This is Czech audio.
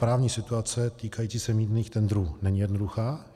Právní situace týkající se mýtných tendrů není jednoduchá.